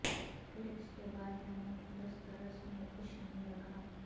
پھر اس کے بعد میں نے دسترس میں کچھ نہیں رکھا